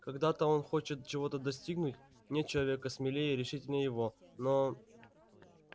когда-то он хочет чего-то достигнуть нет человека смелее и решительнее его но